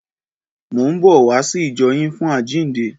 Mò ń bọ̀ wá sí ìjọ yín fún àjíǹde.